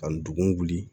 Ka ndugun wuli